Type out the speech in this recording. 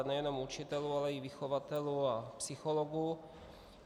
A nejenom učitelů, ale i vychovatelů a psychologů.